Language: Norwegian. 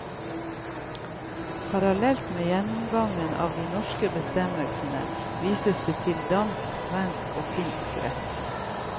Parallelt med gjennomgangen av de norske bestemmelsene vises det til dansk, svensk og finsk rett.